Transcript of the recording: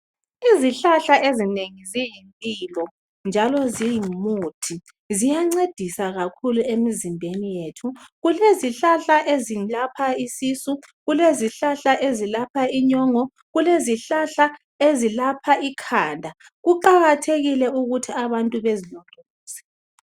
Izihlahla ezinengi ziyimpilo njalo zingumuthi Ziyancedisa kakhulu emzimbeni yethu .Kulezihlahla ezilapha isisu ,lezilapha inyongo lezilapha ikhanda. Kuqakathekile ukuthi abantu bezilondoloze .